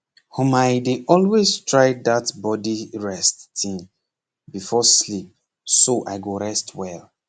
hmmmi dey always try that body rest thing before sleep so i go rest well